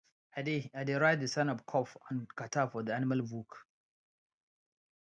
i dey i dey write the sign of cough and catarrh for the animal book